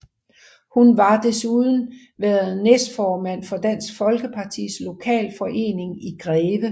Hun har desuden været næstformand for Dansk Folkepartis lokalforening i Greve